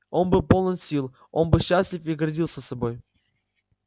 он был полон сил он был счастлив и гордился собой